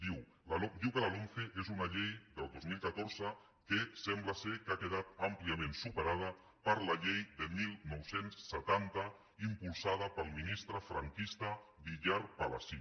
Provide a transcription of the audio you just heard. diu que la lomce és una llei del dos mil catorze que sembla que ha quedat àmpliament superada per la llei de dinou setanta impulsada pel ministre franquista villar palasí